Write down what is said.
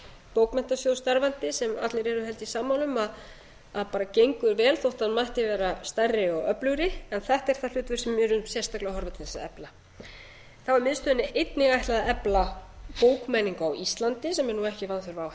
bókmenntasjóð starfandi sem allir eru sammála um að gengur vel þótt hann mætti vera stærri og öflugri en þetta er það hlutverk sem við erum sérstaklega að horfa til að efla þá er miðstöðinni einnig ætlað að efla bókmenningu á íslandi sem er ekki vanþörf á